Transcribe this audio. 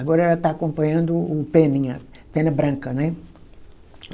Agora ela está acompanhando o Peninha, Pena Branca, né?